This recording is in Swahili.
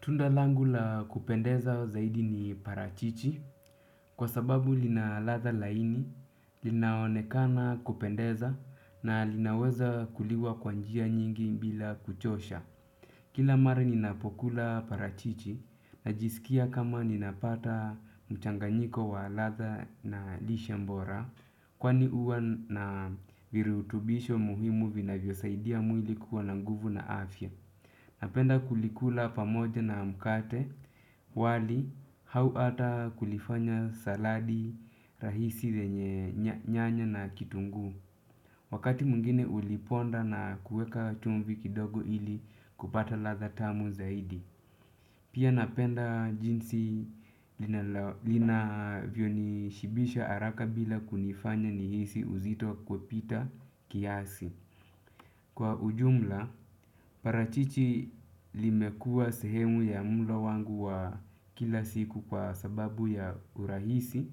Tunda langu la kupendeza zaidi ni parachichi kwa sababu lina ladha laini, linaonekana kupendeza na linaweza kuliwa kwa njia nyingi bila kuchosha. Kila mara ninapokula parachichi najisikia kama ninapata mchanganyiko wa ladha na lishe bora kwa huwa na virutubisho muhimu vinavyosaidia mwili kuwa na nguvu na afya. Napenda kulikula pamoja na mkate wali hau ata kulifanya saladi rahisi lenye nyanya na kitunguu. Wakati mwingine uliponda na kuweka chumvi kidogo ili kupata ladha tamu zaidi. Pia napenda jinsi linavyonishibisha haraka bila kunifanya nihisi uzito kupita kiasi. Kwa ujumla, parachichi limekuwa sehemu ya mlo wangu wa kila siku kwa sababu ya urahisi,